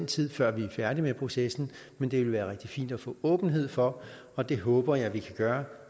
tid før vi er færdige med processen men det ville være rigtig fint at få åbenhed for og det håber jeg vi kan gøre